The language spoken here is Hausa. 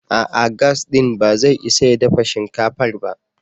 A'a! Gas ɗin ba zai isa ya dafa shinkafar ba.